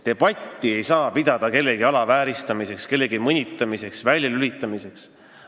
Debatti ei saa pidada kellegi alavääristamiseks, mõnitamiseks või väljalülitamiseks.